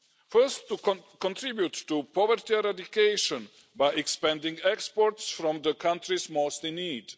first, to contribute to poverty eradication by expanding exports from the countries most in need.